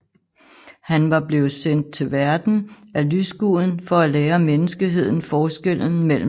Han var blevet sendt til verden af lysguden for at lære menneskeheden forskellen mellem lys og mørke